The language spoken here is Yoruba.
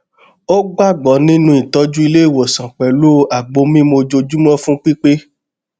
ó gbàgbọ nínú ìtọjú ilé ìwòsàn pẹlú àgbo mímu ojoojúmọ fún pípé